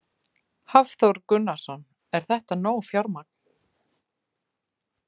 Hafþór Gunnarsson: Er þetta nóg fjármagn?